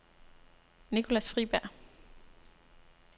Nicolas Friberg